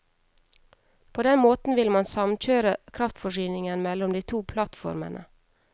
På den måten vil man samkjøre kraftforsyningen mellom de to plattformene.